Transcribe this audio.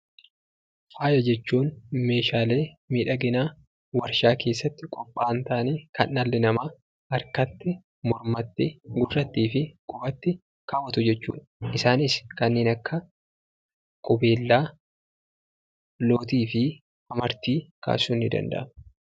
Faaya jechuun meeshaalee miidhaginaa waarshaa keessatti qophaa'an ta'anii, kan dhalli namaa harkatti, Mormatti, gurrattii fi qubatti kaawwatu jechuudha. Isaanis kanneen akka qubeellaa, lootii fi amartii kaasuun ni danda'ama.